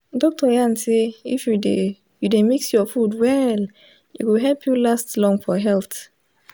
doctor yarn say if you dey you dey mix your food well e go help you last long for health.